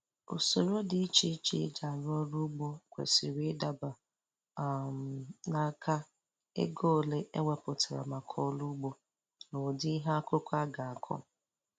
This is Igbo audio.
Usoro dị iche iche e ji arụ ọrụ ugbo kwesịrị ịdaba um na nka, ego ole e wepụtara maka ọrụ ugbo, na ụdị ihe akụkụ a ga-akụ